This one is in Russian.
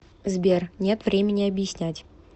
сбер нет времени объяснять